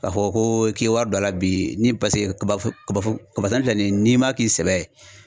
K'a fɔ ko k'i ye wari don a la bi ni paseke kaba foro kaba foro filɛ ni ye n'i ma k'i sɛbɛ ye